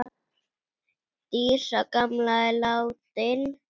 Dísa gamla er látin.